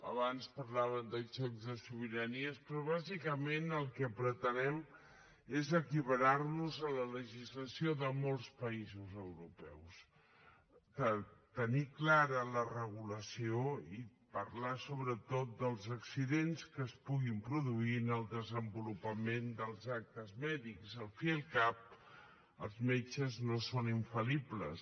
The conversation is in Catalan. abans parlàvem de xocs de sobiranies però bàsicament el que pretenem és equiparar nos a la legislació de molts països europeus tenir ne clara la regulació i parlar sobretot dels accidents que es puguin produir en el desenvolupament dels actes mèdics al cap i a la fi els metges no són infal·libles